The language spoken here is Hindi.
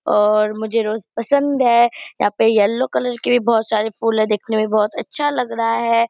और मुझे रोज पसंद है यहाँ पे येलो कलर के भी बहुत सारे फूल है देखने में बहुत अच्छा लग रहा है।